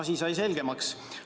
Asi sai selgemaks.